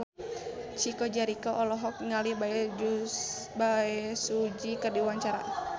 Chico Jericho olohok ningali Bae Su Ji keur diwawancara